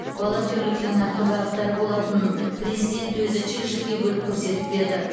волонтерліктің нақты бағыттары болатынын президент өзі жік жікке бөліп көрсетіп берді